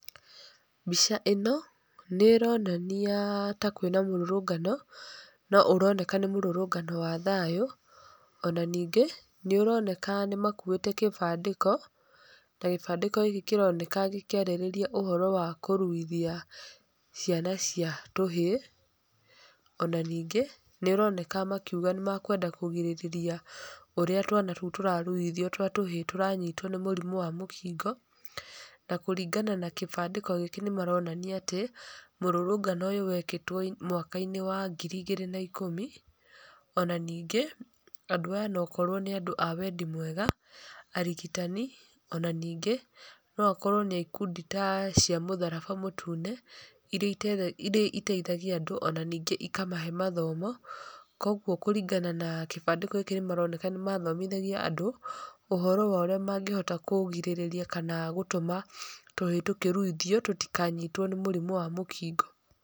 Mbica ĩno nĩ ĩroania ta kwĩna mũrũrũngano no ũroneka nĩ mũrũrũngano wa thayũ, ona ningĩ nĩ ũroneka nĩ makuĩte kĩbandĩko, na kĩbandĩko gĩkĩ kĩroneka gĩkĩarĩrĩria ũhoro wa kũruithia ciana cia tũhĩĩ, ona ningĩ nĩ ũroneka makiuga nĩ ma kũrigĩrĩria ũrĩa twana tũu tũraruithio twa tũhĩĩ, tũranyitwo nĩ mũrimũ wa mũkingo na kũringana na kĩbandĩko gĩkĩ nĩ maronania atĩ mũrũrũngano ũyũ wekĩtwo mwaka wa ngiri igĩrĩ na ikũmi, ona ningĩ andũ aya okorwo nĩ a wendi mwega, arigitani, ona ningĩ no akorwo nĩ ikundi ta cia mũtharaba mũtune iria iteithagia andũ naningĩ ikamahe mathomo, kũogu kũringanana kĩbandĩko gĩkĩ nĩ mathomithagia andũ ũhoro wa ũrĩa mangĩhota kũrigĩrĩria na gũtũma tũhĩĩ tũkĩruithio tũtikanyitwo nĩ mũrimũ wa mũkingo.